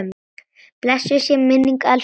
Blessuð sé minning elsku Siggu.